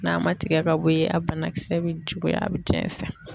N'a man tigɛ ka bɔ ye a banakisɛ bɛ juguya a bɛ jɛnsɛn.